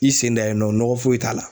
I sen da yen nɔ nɔgɔ foyi t'a la